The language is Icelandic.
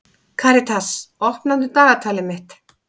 Karitas, opnaðu dagatalið mitt.